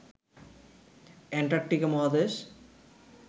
Antarctica মহাদেশ